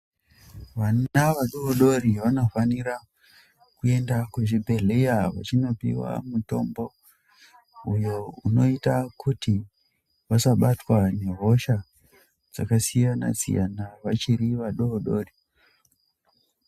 Vana vadodori vanofanira kuenda kuzvibhedhlera, vachinopia mutombo uyo unoita kuti vasabatwa nehosha dzakasiyana siyana vachirivadodori.